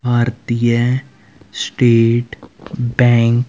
Bharatiya State Bank --